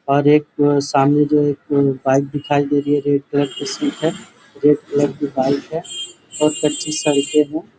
और एक सामने जो एक बाइक दिखाई दे रही है रेड कलर की सीट रेड कलर की बाइक है और कच्ची सड़के हैं।